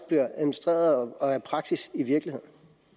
bliver administreret og er praksis i virkeligheden